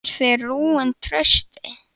Eruð þið rúin trausti?